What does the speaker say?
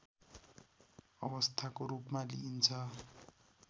अवस्थाको रूपमा लिइन्छ